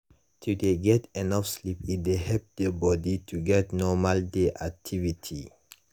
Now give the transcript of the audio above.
to dey get enough sleep e dey help the bodi to get normal day activity.